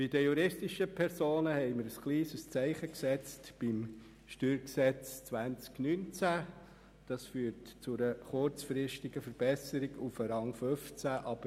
Bei den juristischen Personen haben wir beim StG 2019 ein kleines Zeichen gesetzt, was zu einer kurzfristigen Verbesserung auf Rang 15 führt.